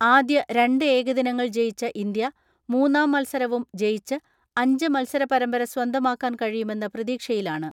ആദ്യ രണ്ട് ഏകദിനങ്ങൾ ജയിച്ച ഇന്ത്യ മൂന്നാം മത്സരവും ജയിച്ച് അഞ്ച് മത്സര പരമ്പര സ്വന്തമാ ക്കാൻ കഴിയുമെന്ന പ്രതീക്ഷയിലാണ്.